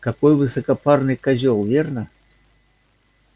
какой высокопарный козел верно